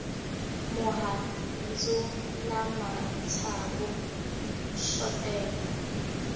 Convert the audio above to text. mihandzu na matsavu swo tenga